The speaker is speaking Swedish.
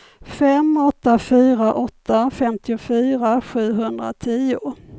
fem åtta fyra åtta femtiofyra sjuhundratio